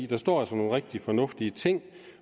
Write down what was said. der står altså nogle rigtig fornuftige ting